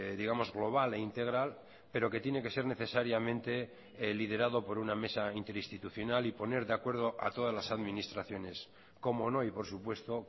digamos global e integral pero que tiene que ser necesariamente liderado por una mesa interinstitucional y poner de acuerdo a todas las administraciones cómo no y por supuesto